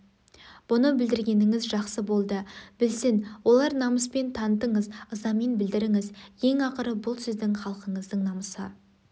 бұны білдіргеніңіз жақсы болды білсін олар намыспен таңытыңыз ызамен білдіріңіз ең ақыры бұл сіздің халқыңыздың намысы